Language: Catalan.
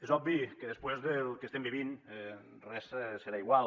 és obvi que després del que estem vivint res serà igual